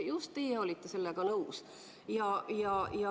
Just teie olite sellega nõus.